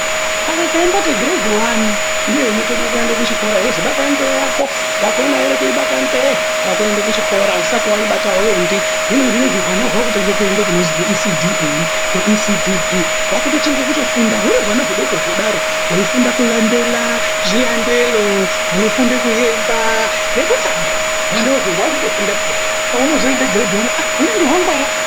Kare taimboti girendi wani ndiyo intange kuende kuchikora yeizwi bata nzee yako ,yakona ere kuibata nzee wakuende kuchikora usati waibata auendi hino zvinoizvi hwana hwa kutange kuende kunozi ku ECDA ku ECDB hwakutotange kutofunda huri hwana hudoko kudaro hweifunda kulandela zvilandelo hwefunde kuemba nekutamba hwana uhwu hwakutofunda peya pahunozoende giredhi wani aah!hunononga hwangwara .